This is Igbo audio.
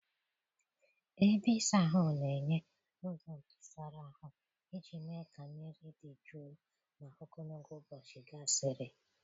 Ebe ịsa ahụ na-enye ụzọ ntụsara ahụ iji mee ka mmiri dị jụụ ma ogologo ụbọchị gasịrị.